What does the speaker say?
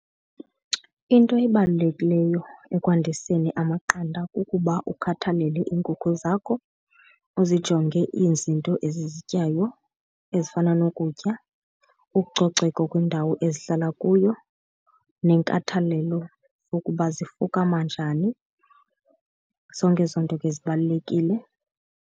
Into ebalulekileyo ekwandiseni amaqanda kukuba ukhathalele iinkukhu zakho uzijonge izinto ezizityayo ezifana nokutya, ucoceko kwindawo ezihlala kuyo nenkathalelo yokuba zifukama njani, zonke ezo nto ke zibalulekile.